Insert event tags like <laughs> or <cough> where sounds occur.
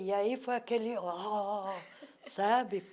E aí foi aquele Ó... <laughs> Sabe?